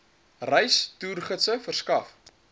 reis toergidse verskaf